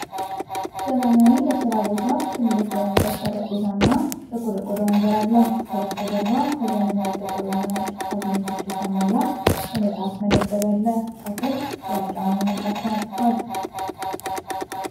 ዘመናዊ የሥራ ቦታ ትልቅ የእንጨት ጠረጴዛ እና ጥቁር የቆዳ ወንበር አለው። ከበስተጀርባ በዘመናዊ ጥቁር እና ነጭ ካቢኔቶች የተሞላ የመፅሃፍ መደርደሪያ አለ። ከስር ግራጫማ ምንጣፍ ተነጥፏል።